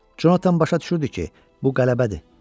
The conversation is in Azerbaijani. Conatan başa düşürdü ki, bu qələbədir.